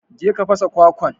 je ka fasa kwakwan.